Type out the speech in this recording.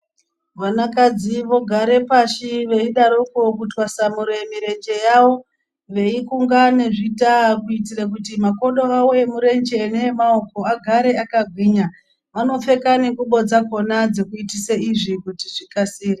Vanakadzi vogare pashi veidaroko kutwasanure mirenje yavo veikunga nezvitaa kuitira kuti makodo awo emurenje neemaoko agare akagwinya, vanopfeka nengubo dzakona dzekuitise izvi kuti zvikasire.